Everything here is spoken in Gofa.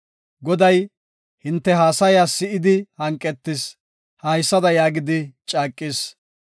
“Goday hinte haasaya si7idi hanqetis; haysada yaagidi caaqis;